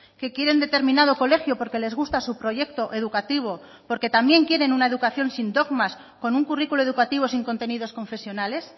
que quieren determinado colegio porque les gusta su proyecto educativo porque también quieren una educación sin dogmas con un currículo educativo sin contenidos confesionales